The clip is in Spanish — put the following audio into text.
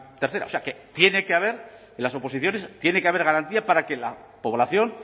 tercera o sea que tiene que haber en las oposiciones tiene que haber garantía para que la población